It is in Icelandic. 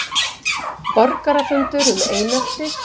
Borgarafundur um einelti